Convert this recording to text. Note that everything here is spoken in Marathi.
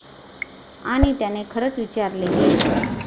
आणि त्याने खरच विचारलेही!